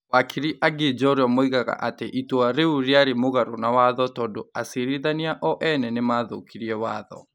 wakiri angĩ njorua moigaga atĩ itua rĩu rĩarĩ mũgarũ na watho tondu acirithania o ene nĩ mathũkirie watho ,